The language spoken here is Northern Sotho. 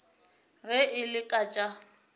ge e le ka tša